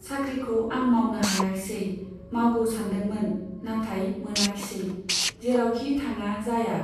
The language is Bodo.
साख्रिखौ आं मावनो हायाखिसै, मावगौ सानदोंमोन , नाथाय मोनाखिसै , जेरावखि थाङा जाया।